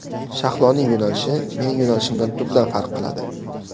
Shahloning yo‘nalishi mening yo‘nalishimdan tubdan farq qiladi.